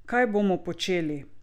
Kaj bomo počeli?